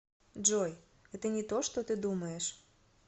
джой это не то что ты думаешь